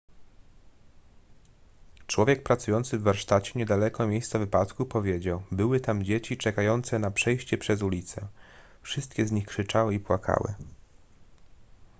człowiek pracujący w warsztacie niedaleko miejsca wypadku powiedział były tam dzieci czekające na przejście przez ulicę wszystkie z nich krzyczały i płakały